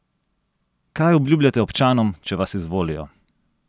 Kaj obljubljate občanom, če vas izvolijo?